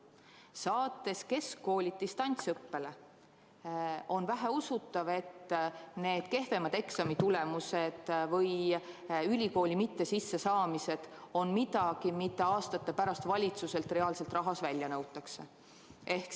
Kui saata keskkoolid distantsõppele, on väheusutav, et kehvemad eksamitulemused või ülikooli mittesissesaamised on midagi, mida aastate pärast valitsuselt reaalselt rahas välja nõutakse.